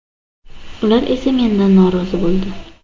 Ular esa mendan norozi bo‘ldi.